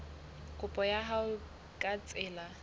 kopo ya hao ka tsela